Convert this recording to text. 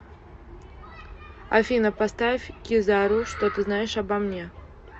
афина поставь кизару что ты знаешь обо мне